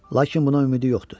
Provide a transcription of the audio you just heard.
Lakin buna ümidi yoxdu.